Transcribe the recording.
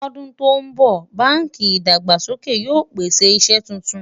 ló dùn ton bó, bánkì ìdàgbàsókè yóò pèsè iṣé túntùn